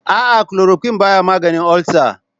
A'a, klorokuwin baya maganin ulcer.